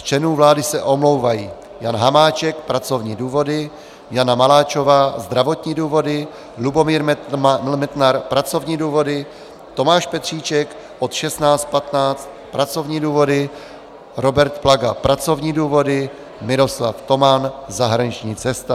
Z členů vlády se omlouvají: Jan Hamáček - pracovní důvody, Jana Maláčová - zdravotní důvody, Lubomír Metnar - pracovní důvody, Tomáš Petříček od 16.15 - pracovní důvody, Robert Plaga - pracovní důvody, Miroslav Toman - zahraniční cesta.